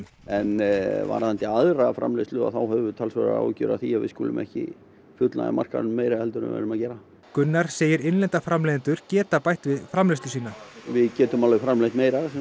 en varðandi aðra framleiðslu þá höfum við talsverðar áhyggjur af því að við skulum ekki fullnægja markaðnum meira heldur en við erum að gera Gunnar segir innlenda framleiðendur geta bætt við framleiðslu sína við getum alveg framleitt meira